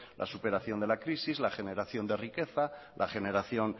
la superación de la crisis la generación de riqueza la generación